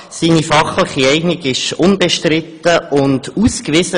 Seine fachliche Eignung ist unbestritten und ausgewiesen.